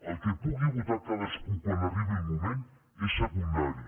el que pugui votar cadascú quan arribi el moment és secundari